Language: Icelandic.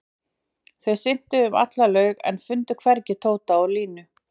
Þau syntu um alla laug en fundu hvergi Tóta og Linju.